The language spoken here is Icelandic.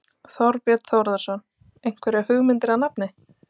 Þorbjörn Þórðarson: Einhverjar hugmyndir að nafni?